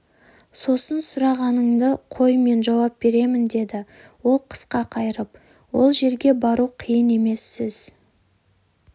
сосын сұрағыңды қой мен жауап беремін деді ол қысқа қайырып ол жерге бару қиын емес сіз